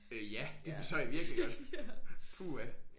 Øh ja det forstår jeg virkelig godt puha